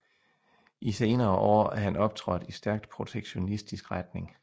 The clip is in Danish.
I senere år er han optrådt i stærkt protektionistisk retning